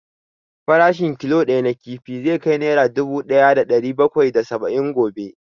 Farashin killo ɗaya na kifi zai kai nera dubu ɗaya da ɗari bakwai da saba'in gobe